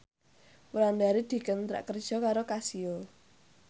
Wulandari dikontrak kerja karo Casio